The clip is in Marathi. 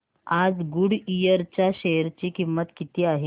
आज गुडइयर च्या शेअर ची किंमत किती आहे